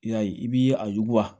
I y'a ye i b'i a yuguba